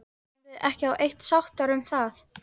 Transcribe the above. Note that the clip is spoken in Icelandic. Vorum við ekki á eitt sáttar um það?